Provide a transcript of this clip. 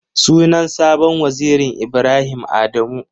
Sunan sabon wazirin Ibrahim Adamu.